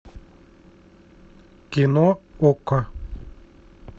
кино окко